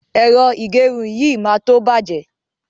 Ẹ̀rọ ìgẹrun yìí máa tó bàjẹ́.